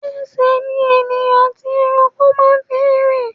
Ẹsẹ̀ ni ènìyàn àti ẹranko máa ń fi ń rin.